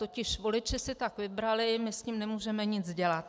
Totiž voliči si tak vybrali, my s tím nemůžeme nic dělat.